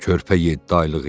Körpə yeddi aylıq idi.